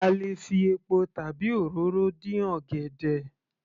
A lè fi epo tàbi òróró dín ọ̀gẹ̀dẹ̀